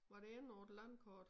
Var det endnu et landkort